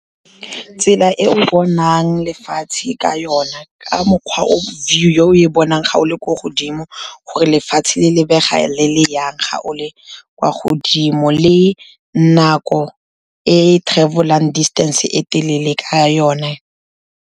Tsela e o bonang lefatshe ka yona, ka mokgwa view eo e bonang ga o le ko godimo, gore lefatshe le lebega le le jang ga o le kwa godimo, le nako e travel-ang distance-e e telele ka ona.